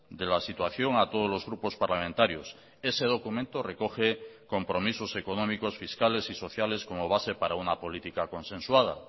de la situación a todos los grupos parlamentarios ese documento recoge compromisos económicos fiscales y sociales como base para una política consensuada